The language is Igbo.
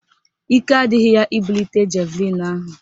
Ike adịghị ya ibulite javlịn ahụ